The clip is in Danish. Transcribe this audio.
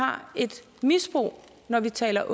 har et misbrug når vi taler